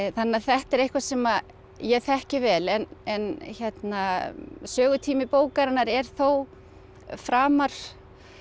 þannig að þetta er eitthvað sem ég þekki vel en en sögutími bókarinnar er þó framar